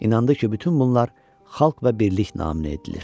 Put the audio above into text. İnandı ki, bütün bunlar xalq və birlik naminə edilir.